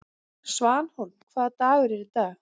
Svanhólm, hvaða dagur er í dag?